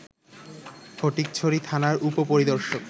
ফটিকছড়ি থানার উপ-পরিদর্শক